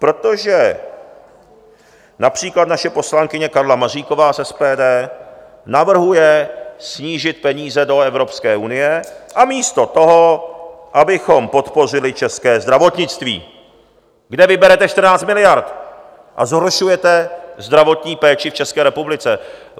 Protože například naše poslankyně Karla Maříková z SPD navrhuje snížit peníze do Evropské unie a místo toho abychom podpořili české zdravotnictví, kde vyberete 14 miliard a zhoršujete zdravotní péči v České republice.